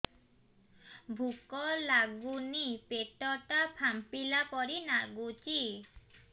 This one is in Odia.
ଭୁକ ଲାଗୁନି ପେଟ ଟା ଫାମ୍ପିଲା ପରି ନାଗୁଚି